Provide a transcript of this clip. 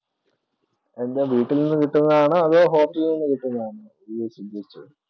എൻ്റെ വീട്ടിൽ നിന്ന് കിട്ടുന്നതാണോ അതോ hostel നിന്ന് കിട്ടുന്നതാണോ നീ ഉദ്ദേശിച്ചത്?